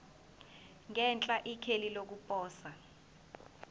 ngenhla ikheli lokuposa